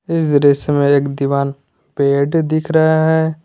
इस दृश्य में एक दीवाल बेड दिख रहा है।